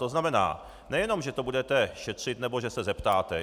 To znamená, nejenom že to budete šetřit nebo že se zeptáte.